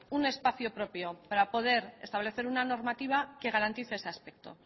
un espacio propio para poder establecer una normativa que garantice ese aspecto